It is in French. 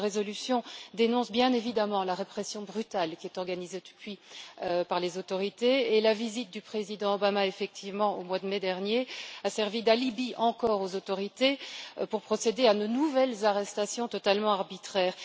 Notre résolution dénonce bien évidemment la répression brutale qui est organisée depuis par les autorités, et la visite du président Obama, effectivement, au mois de mai dernier a servi d'alibi, encore, aux autorités pour procéder à de nouvelles arrestations totalement arbitraires.